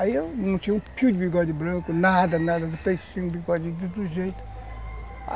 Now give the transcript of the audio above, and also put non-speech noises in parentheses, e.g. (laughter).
Aí eu não tinha um fio de bigode branco, nada, nada de (unintelligible)